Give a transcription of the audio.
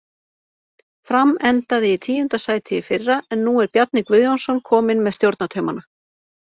Fram endaði í tíunda sæti í fyrra en nú er Bjarni Guðjónsson kominn með stjórnartaumana.